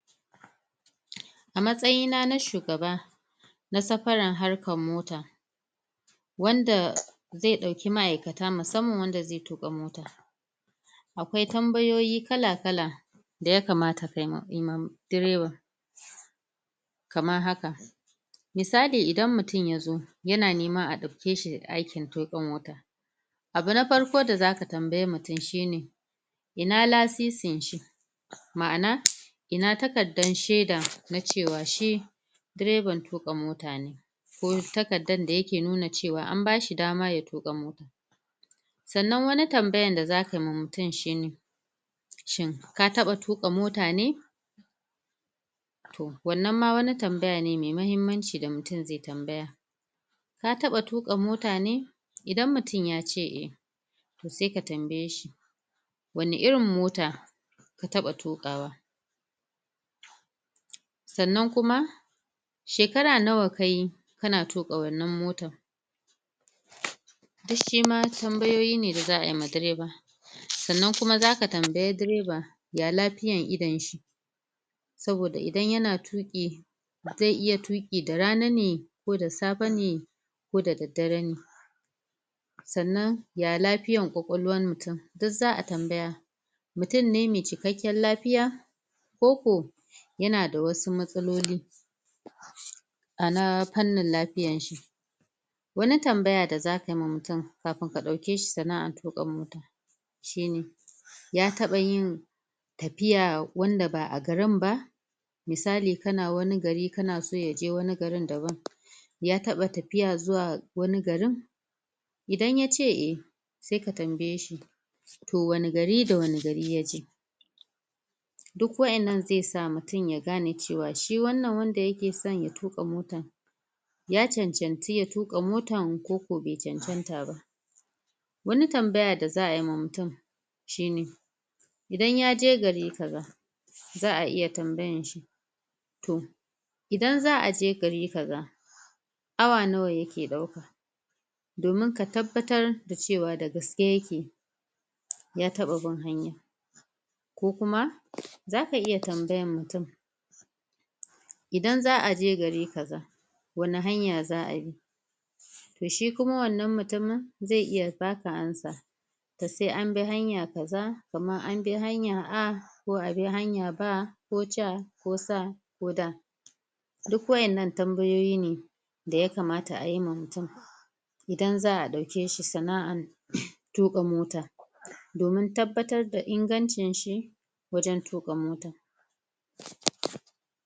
A matsayina na shugaba na safaran harkan mota wanda zai dauki maaikata musamman wanda zai tukka mota akwai tambayoyi kala kala da ya kamata ka yi ma, ku yi ma drevan kamar haka misali idan mutum ya zo ya na niman a dauke shi da aikin tukka mota abu na farko da za ka tambayemutum shi ne ina laisisin shi maana ina takadar sheda na cewa shi drevan tuka mota ne ko takkadar da ya ke nuna cewa an ba shi dama ya tuka mota tsannan wani tambayan da za kayi ma mutum shi ne shin ka taba tuka mota ne? toh wannan ma wani tambaya ne mai mahimmanci da mutum zai tambaya ka taba tuka mota ne? idan mutum ya ce eh toh sai ka tambaye shi wanna irin mota, ka taba tukawa tsannan kuma shekara nawa ka yi, ka na tuka wannan mota duk shi ma tambayoyi ne da za'a yi ma dreva. Tsannan kuma za ka tan bi dreva, ya lafiyar idon shi saboda idan yana tuƙi zai iya tuƙi da rana ne ko da safe ne ko dadare ne tsannan ya lafiyar kwakwalwar mutumduk zaa tambaya mutum ne mai cikakiyar lafiya ko ko yana da wasu matsaloli a na kanan lafiyar shi wani tambaya da za ka yi ma mutum kafun ka dauke shi sanaar tukka mota shi ne, ya taba yin tafiya wanda baa garin ba misali kana wani gari ka na so ya je wani garin daban ya taba tafiya zuwa wani garin idan ya ce eh, sai ka tambaye shi toh wani gari da wani gari ya je duk waƴannan zai sa mutum ya gane cewa shi wannan wanda ya ke san ya tukka motan ya cancantu ya tukka motan ko ko bai cancanta ba wani tambaya da zaa yi ma mutum shi ne idan ya je gari kaza zaa iya tambayan shi toh idan zaa je gari kaza awa nawa ya ke dauka domin ka tabbatar da cewa da gaske ya ke ya taba bin hanyan ko kuma, za ka iya tambayan mutum idan zaa je gari kaza wani hanya zaa bi toh shi kuma wannan mutumin da sai abi hanya kaza kaman an bi hanya a ko abi hanya ba, ko ja, ko sa, ko da duk waƴannan tambayoyi ne da ya kamata ayi ma mutum idan zaa dauke shi sanaar tukka mota. domin tabbatar da ingancin shi wajen tukka mota